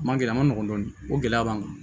A ma gɛlɛ a ma nɔgɔn dɔɔnin o gɛlɛya b'an kan